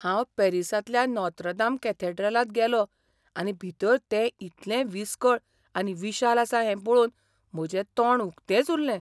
हांव पॅरिसांतल्या नॉत्रदाम कॅथेड्रलांत गेलों आनी भितर तें इतलें विसकळ आनी विशाल आसा हें पळोवन म्हजें तोंड उक्तेंच उरलें .